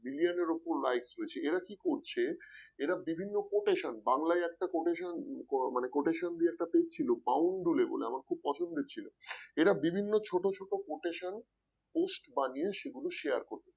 এরা কি করছে এরা বিভিন্ন quotation বাংলায় একটা quotation মানে quotation দিয়ে একটা page ছিল বাউন্ডুলে বলে আমার খুব পছন্দের ছিল এরা বিভিন্ন ছোট ছোট quotation post বানিয়ে সেগুলো share করছে